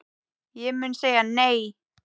Ég mun segja nei.